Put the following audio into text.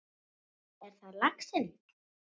Svo er það laxinn.